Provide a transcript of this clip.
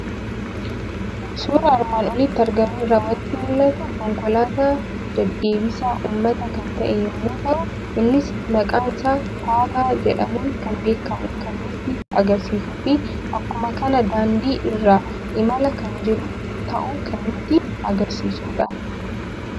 Suuraa armaan olitti argamu irraa waanti mul'atu; konkolaataa deddeebisaa uummataa kan ta'e yommuu ta'u, innis maqaansaa Taataa jedhamuun kan beekamu kan nutti agarsiisufi akkuma kana daandii irra imalaa kan jiru ta'uu kan nutti agarsiisudha.